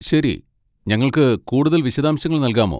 ശരി, ഞങ്ങൾക്ക് കൂടുതൽ വിശദാംശങ്ങൾ നൽകാമോ?